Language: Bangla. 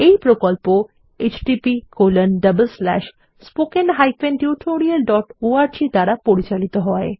এই প্রকল্প httpspoken tutorialorg দ্বারা পরিচালিত হয়